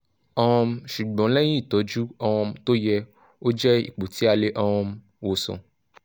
um ṣùgbọ́n lẹ́yìn ìtọ́jú um tó yẹ ó jẹ́ ipò tí a lè um wòsàn